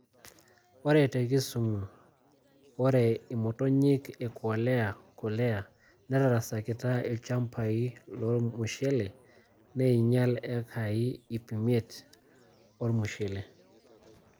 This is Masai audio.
Ore te Kisumu, ore imotonyik e Quelea quelea netarasakita ilchambai lormushele, neinyial ekai 500 ormushele.